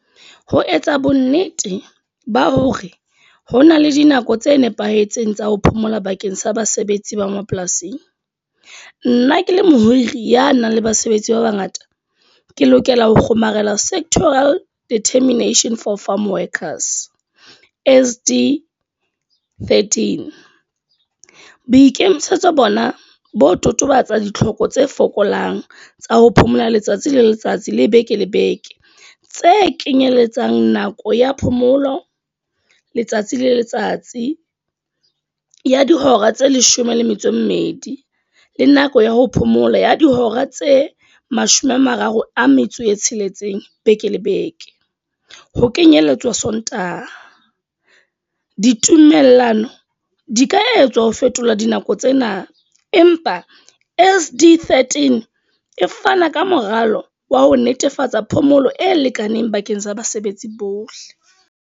Ho etsa bo nnete, ba hore ho na le dinako tse nepahetseng tsa ho phomola bakeng sa basebetsi ba mapolasing. Nna ke le mohiri ya nang le basebetsi ba bangata, ke lokela ho kgomarela Sectorial Determination for Farm Workers S_D-13. Boikemisetso bona bo totobatsa ditlhoko tse fokolang tsa ho phomola letsatsi le letsatsi le beke le beke. Tse kenyeletsang nako ya phomolo, letsatsi le letsatsi, ya dihora tse leshome le metso e mmedi. Le nako ya ho phomola ya dihora tse mashome a mararo a metso e tsheletseng beke le beke. Ho kenyelletswa Sontaha. Ditumellano di ka etswa ho fetola dinako tsena, empa S_D-13 e fana ka moralo wa ho netefatsa phomolo e lekaneng bakeng sa basebetsi bohle.